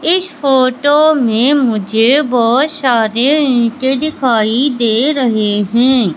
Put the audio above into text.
इस फोटो में मुझे बहोत सारे ईंटें दिखाई दे रहे हैं।